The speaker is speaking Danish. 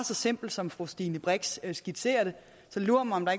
så simpelt som fru stine brix skitserer så lur mig om der